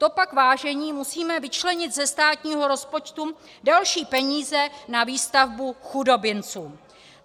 To pak, vážení, musíme vyčlenit ze státního rozpočtu další peníze na výstavbu chudobinců.